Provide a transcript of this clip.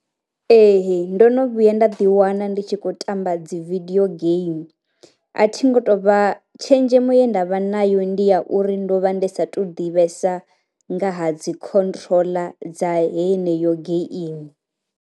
Ee ndo no vhuya nda ḓi wana ndi tshi kho tamba dzi vidio game, a thi ngo tovha tshenzhemo ye ndavha nayo ndi ya uri ndo vha ndi sa tu ḓivhesesa nga ha dzi khontroḽa dza heneyo game.